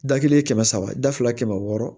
Da kelen kɛmɛ saba da fila kɛmɛ wɔɔrɔ